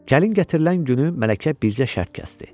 Gəlin gətirilən günü mələkə bircə şərt kəsdi.